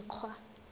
dikgwa